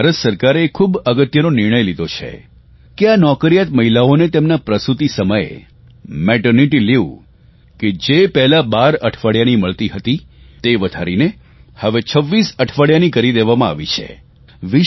ત્યારે ભારત સરકારે એક ખૂબ મહત્વનો નિર્ણય લીધો છે કે આ નોકરિયાત મહિલાઓને તેમના પ્રસૂતિ સમયે મેટરનિટી લીવ કે જે પહેલાં 12 અઠવાડિયાની મળતી હતી તે વધારીને હવે 26 અઠવાડિયાની કરી દેવામાં આવી છે